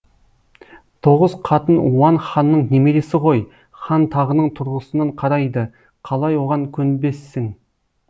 тоғыз қатын уан ханның немересі ғой хан тағының тұрғысынан қарайды қалай оған көнбессің